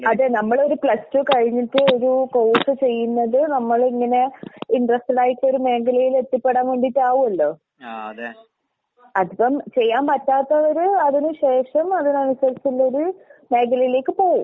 അതെ നമ്മളൊരു plus two കഴിഞ്ഞിട്ട് ഒരു കോഴ്‌സ് ചെയ്യുന്നത് നമ്മളിങ്ങനെ ഇന്റെറെസ്റ്റഡായിട്ടൊര് മേഖയിലെത്തിപ്പെടാൻ വേണ്ടീട്ടാവുവല്ലോ? അതിപ്പം ചെയ്യാൻ പറ്റാത്തവര് അതിന് ശേഷം അതിനനുസരിച്ചുള്ളൊരു മേഖലയിലേക്ക് പോവും.